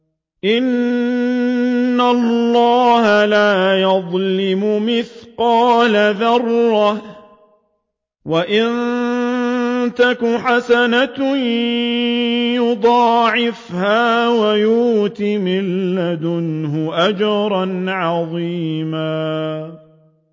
إِنَّ اللَّهَ لَا يَظْلِمُ مِثْقَالَ ذَرَّةٍ ۖ وَإِن تَكُ حَسَنَةً يُضَاعِفْهَا وَيُؤْتِ مِن لَّدُنْهُ أَجْرًا عَظِيمًا